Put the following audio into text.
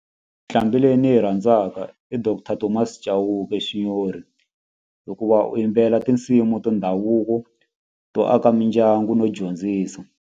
Nqambi leyi ni yi rhandzaka i doctor Thomas Chauke xinyori hikuva u yimbelela tinsimu ta ndhavuko to aka mindyangu no dyondzisa.